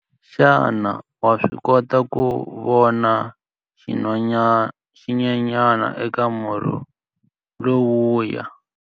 Xana wa swi kota ku vona xinyenyana eka murhi lowuya?